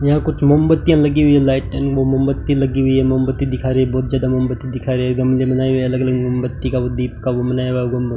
यहां कुछ मोमबत्तियां लगी हुई है लाइट एंड मोमबत्ती लगी हुई है मोमबत्ती दिखा रही है बहोत ज्यादा मोमबत्ती दिखा रहे है गमले बनाए हुई है अलग-अलग मोमबत्ती का दीप का ओ बनाया हुआ गुम्बद --